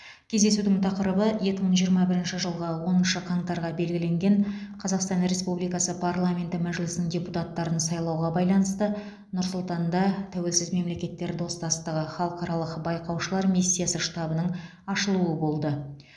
кездесудің тақырыбы екі мың жиырма бірінші жылғы оныншы қаңтарға белгіленген қазақстан республикасы парламенті мәжілісінің депутаттарын сайлауға байланысты нұр сұлтанда тәуелсіз мемлекеттер достастығы халықаралық байқаушылар миссиясы штабының ашылуы болды